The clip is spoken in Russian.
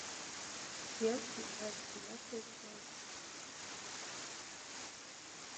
селфи двадцать девятая часть